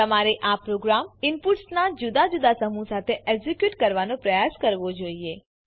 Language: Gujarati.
તમારે આ પ્રોગ્રામ ઇનપુટ્સના જુદા જુદા સમૂહ સાથે એક્ઝીક્યુટ કરવાનો પ્રયાસ કરવો જોઈએ